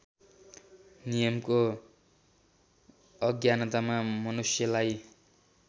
नियमको अज्ञानतामा मनुष्यलाई